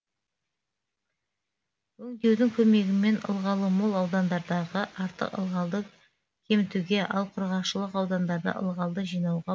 өңдеудің көмегімен ылғалы мол аудандардағы артық ылғалды кемітуге ал құрғақшылық аудандарда ылғалды жинауға